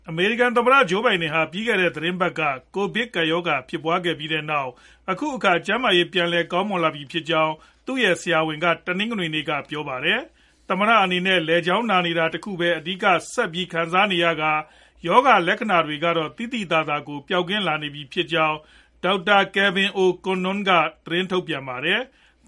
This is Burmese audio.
အမေရိကန် သမ္မတ Joe Biden ဟာ ကိုဗစ်ကပ်ရောဂါ ဖြစ်ပွားခဲ့ပြီးနောက် အခုအခါ ကျန်းမာရေး ပြန်လည် ကောင်းမွန်လာပြီဖြစ်ကြောင်း သူရဲ့ ဆရာဝန်က တနင်္ဂနွေနေ့က ပြောပါတယ်။ သမ္မတ အနေနဲ့ လည်ချောင်းနာနေတာ ဆက်ပြီး ခံစားနေရကာ ရောဂါလက္ခဏာတွေကတော့ ပျောက်ကင်းလာနေပြီဖြစ်ကြောင်း Dr Kevin O' Connon က သတင်းထုတ်ပြန်ပါတယ်။